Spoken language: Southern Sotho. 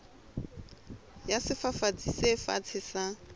ya sefafatsi se fatshe sa